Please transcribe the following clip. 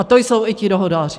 A to jsou i ti dohodáři.